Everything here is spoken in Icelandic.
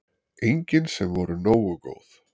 Engin sem voru nógu góð.